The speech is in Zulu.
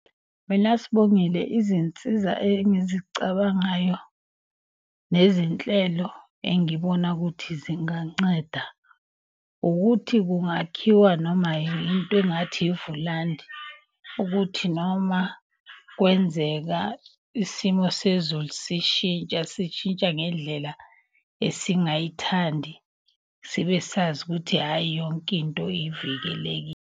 Mina Sibongile, izinsiza engizicabangayo nezinhlelo engibona ukuthi zinganceda. Ukuthi kungakhiwa noma into engathi ivulandi ukuthi noma kwenzeka isimo sezulu sishintsha. Sishintsha ngendlela esingayithandi sibe sazi ukuthi, hhayi yonke into .